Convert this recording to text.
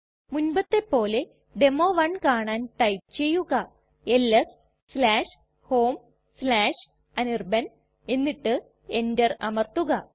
മുൻപത്തെ പോലെ ഡെമോ 1 കാണാൻ ടൈപ്പ് ചെയ്യുക എൽഎസ് homeanirban എന്നിട്ട് enter അമർത്തുക